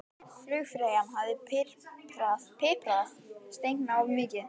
Flugfreyjan hafði piprað steikina of mikið.